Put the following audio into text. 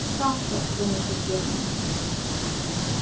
сказка заметил германн